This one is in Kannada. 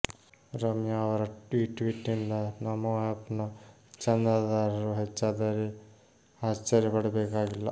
ರಮ್ಯಾ ಅವರ ಈ ಟ್ವೀಟಿನಿಂದ ನಮೋ ಆಪ್ ನ ಚಂದಾದಾರರು ಹೆಚ್ಚಾದರೆ ಆಶ್ಚರ್ಯ ಪಡಬೇಕಾಗಿಲ್ಲ